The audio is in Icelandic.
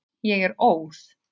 Ég er óð.